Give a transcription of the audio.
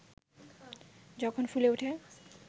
যখন ফুলে ওঠে